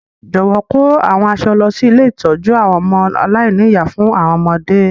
Jọ̀wọ́ kò àwọn aṣọ lọ si ilé ìtójú àwon ọmọ aláìní-ìyá fún àwọn ọmọdé.